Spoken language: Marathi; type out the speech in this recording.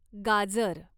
गाजर